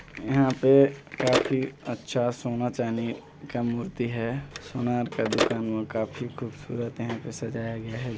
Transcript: यहाँ पे काफी अच्छा सोना -चांदी का मूर्ति है सुनार का दुकान व काफी खूबसूरत यहाँ पर सजाया गया हैं।